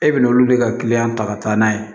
E bɛ n'olu de ka kiliyan ta ka taa n'a ye